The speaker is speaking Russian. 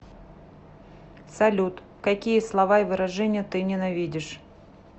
салют какие слова и выражения ты ненавидишь